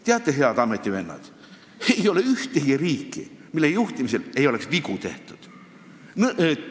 Teate, head ametivennad, ei ole ühtegi riiki, mille juhtimisel poleks vigu tehtud.